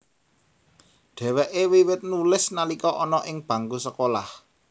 Dhèwèké wiwit nulis nalika ana ing bangku sekolah